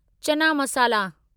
चना मसाला